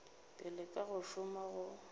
pele ka go šoma go